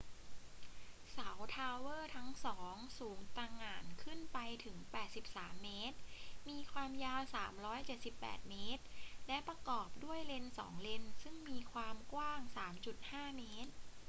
เสาทาวเวอร์ทั้งสองสูงตะหง่านขึ้นไปถึง 83 เมตร มีความยาว 378 เมตร และประกอบด้วยเลน 2 เลนซึ่งมีความกว้าง 3.50 เมตร